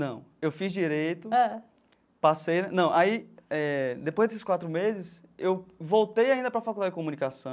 Não, eu fiz direito, passei... Não, aí, eh depois desses quatro meses, eu voltei ainda para a Faculdade de Comunicação,